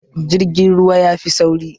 Jirgin ruwa yafi sauri